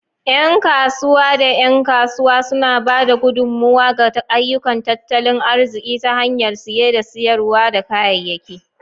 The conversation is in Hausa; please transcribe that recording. Yan kasuwa da 'yan kasuwa suna ba da gudummawa ga ayyukan tattalin arziki ta hanyar siye da sayar da kayayyak.